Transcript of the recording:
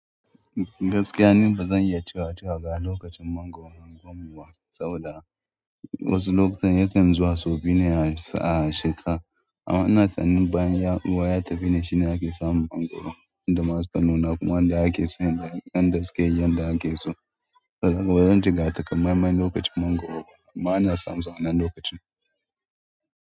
Gaskiya ne ba zan iya cewa cewa ga lokacin mangwaro unguwar mu ba, saboda wasu lokutan yakan zuwa sau biyu ne a shekara. Amma ina tunanin bayan ruwa ya tafi ne shine ake samun mangwaro, yanda ma su ka nuna kuma yanda ake so yanzu, yanda suke yi, yanda ake so. Saboda haka bazan ce ga takamamme lokacin mangwaro ba, amma a na samun su a wannan lokacin.